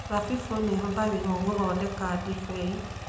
Thabibũ nĩ ihũthagĩrũo gũthondeka ndibei.